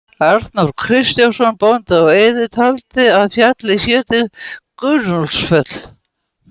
Arnór Kristjánsson bóndi á Eiði taldi að fjallið héti Gunnúlfsfell.